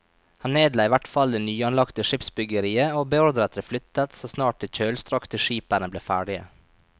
Han nedla i hvert fall det nyanlagte skipsbyggeriet og beordret det flyttet så snart de kjølstrakte skipene ble ferdige.